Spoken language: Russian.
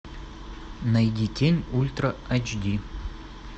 найди тень ультра айч ди